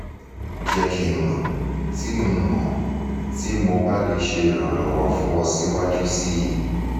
jẹ ki n mọ ti n mọ ti mo ba le ṣe iranlọwọ fun ọ siwaju sii